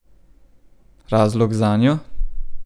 Razlog zanjo?